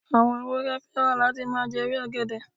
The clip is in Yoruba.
Àwọn ewúrẹ́ fẹ́ràn láti máa jẹ ewé ọ̀gẹ̀dẹ̀.